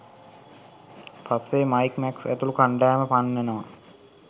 පස්සේ Mike Max ඇතුළුකණ්ඩායම පන්නනවා